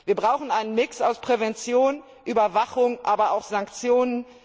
Wir brauchen einen Mix aus Prävention, Überwachung, aber auch Sanktionen.